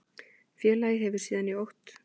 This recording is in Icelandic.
Félagið hefur síðan í okt